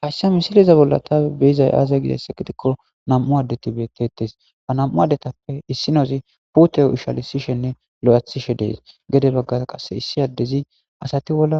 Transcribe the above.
Hayssa misiliza bolla taawe beyizay aaza gizayssa gidikko nam'u addeti bettettes ha nam'u addetappe issinozi puteyo ushalisishenne lo'athishe dees gede baggara qasse issi addezi asati bolla